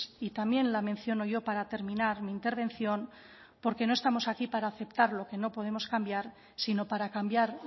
y también la menciono yo para terminar mi intervención porque no estamos aquí para aceptar lo que no podemos cambiar sino para cambiar